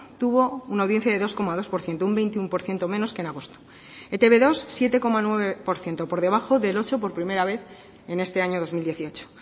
tuvo una audiencia de dos coma dos por ciento un veintiuno por ciento menos que en agosto e te be dos siete coma nueve por ciento por debajo del ocho por primera vez en este año dos mil dieciocho